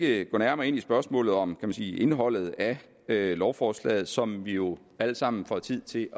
ikke gå nærmere ind i spørgsmålet om indholdet af lovforslaget som vi jo alle sammen får tid til